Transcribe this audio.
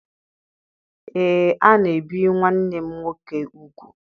Ee, a na-ebi nwanne m nwoke ugwu.